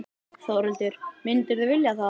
Þórhildur: Myndirðu vilja það?